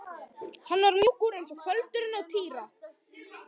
Hann var mjúkur eins og feldurinn á Týra.